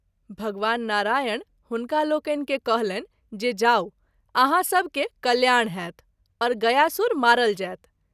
भगवान नारायण हुनका लोकनि के कहलनि जे जाऊ आहाँ सभ के कल्याण होएत और गयासुर मारल जाएत।